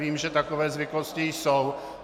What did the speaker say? Vím, že takové zvyklosti jsou.